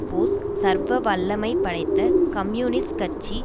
post சர்வ வல்லமை படைத்த கம்யூனிஸ்ட் கட்சி